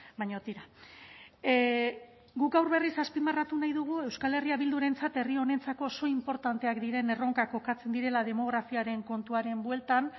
baina tira guk gaur berriz azpimarratu nahi dugu euskal herria bildurentzat herri honentzako oso inportanteak diren erronkak kokatzen direla demografiaren kontuaren bueltan